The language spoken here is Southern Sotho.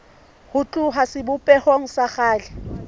ho tloha sebopehong sa kgale